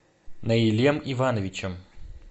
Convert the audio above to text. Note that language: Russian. наилем ивановичем